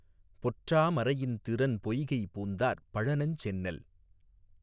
பொற்றா மரையிந் திரன்பொய்கை பூந்தார் பழனஞ்செந்நெல்